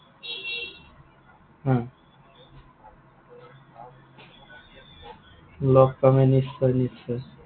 লগ পাম, নিশ্চয়, নিশ্চয়।